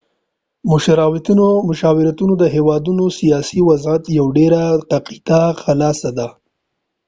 مشاوریتونه د هیواد د سیاسی وضعیت یو ډیره دقیقه خلاصه ده